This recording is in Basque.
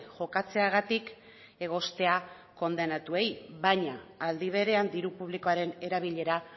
jokatzeagatik egoztea kondenatuei baina aldi berean diru publikoaren erabilera